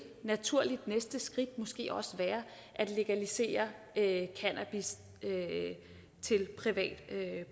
naturligt næste skridt måske også være at legalisere cannabis til privat